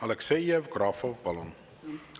Aleksei Jevgrafov, palun!